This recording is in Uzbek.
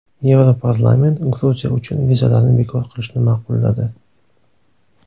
Yevroparlament Gruziya uchun vizalarni bekor qilishni ma’qulladi.